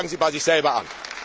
Fangen Sie bei sich selber an!